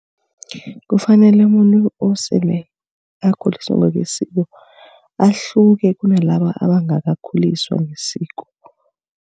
Kufanele bona osele akhuliswe ngokwesiko ahluke kunalaba abangakakhuliswa ngokwesiko.